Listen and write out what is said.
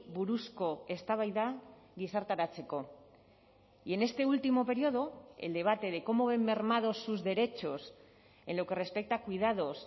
buruzko eztabaida gizarteratzeko y en este último periodo el debate de cómo ven mermados sus derechos en lo que respecta a cuidados